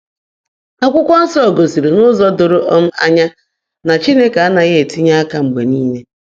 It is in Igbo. Akwụkwọ Nsọ gosiri n’ụzọ doro um anya na Chineke anaghị etinye aka mgbe niile.